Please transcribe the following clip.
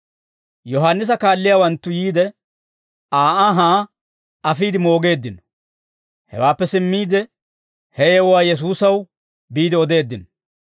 Yohaannisa kaalliyaawanttu yiide, Aa anhaa afiide moogeeddino; hewaappe simmiide ha yewuwaa Yesuusaw biide odeeddino.